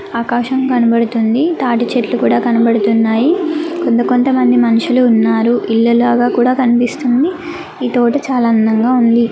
ఆకాశం కనపడుతుంది. తాటి చెట్లు కూడా కనపడుతున్నాయి. కొంత కొంత మంది మనుషులు ఉన్నారు. ఇళ్ళ లాగా కూడా కనిపిస్తుంది. ఈ తోట చాలా అందంగా ఉంది.